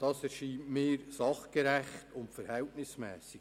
Das erscheint mir sachgerecht und verhältnismässig.